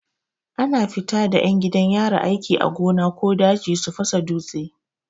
Akan fita da 'yan gidan yari aiki a gona ko daji su fasa dutse.